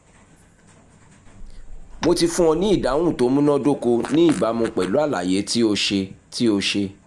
mo ti fún ọ ní ìdáhùn tó múná dóko ní ìbámu pẹ̀lú àlàyé tí o ṣe tí o ṣe